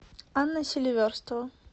анна селиверстова